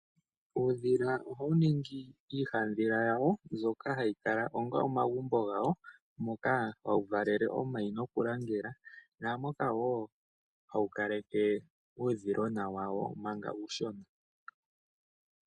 Uudhila ohawu ningi iihandhila yawo mbyoka hayi kala onga omagumbo gawo moka hawu valele omayi nokulangela naamoka wo hawu kale ke uudhilona wawo manga uushona.